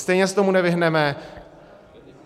Stejně se tomu nevyhneme.